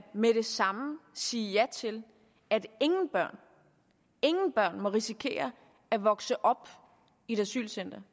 med det samme sige ja til at ingen børn må risikere at vokse op i et asylcenter